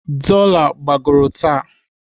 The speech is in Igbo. Dola gbagoro taa.